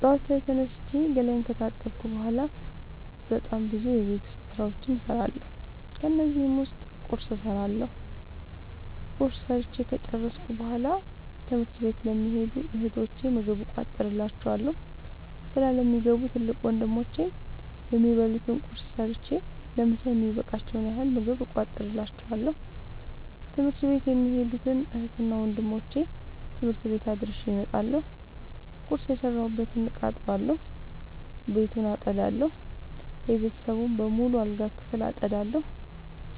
ጠዋት ላይ ተነስቼ ገላየን ከታጠብኩ በሗላ በጣም ብዙ የቤት ዉስጥ ስራዎችን እሠራለሁ። ከነዚህም ዉስጥ ቁርስ እሠራለሁ። ቁርስ ሠርቸ ከጨረሥኩ በሗላ ትምህርት ለሚኸዱ እህቶቸ ምግብ እቋጥርላቸዋለሁ። ስራ ለሚገቡ ትልቅ ወንድሞቼም የሚበሉት ቁርስ ሰጥቸ ለምሣ የሚበቃቸዉን ያህል ምግብ እቋጥርላቸዋለሁ። ትምህርት ቤት የሚኸዱትን እህትና ወንድሞቼ ትምህርት ቤት አድርሼ እመጣለሁ። ቁርስ የሰራሁበትን እቃ አጥባለሁ። ቤቱን አጠዳለሁ። የቤተሰቡን በሙሉ የአልጋ ክፍል አጠዳለሁ።